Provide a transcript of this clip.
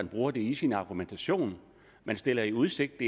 bruger det i sin argumentation man stiller i udsigt